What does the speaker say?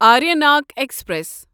Aranyak express